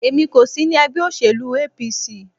Èmi kò sí ní ẹgbẹ́ òsèlú APC.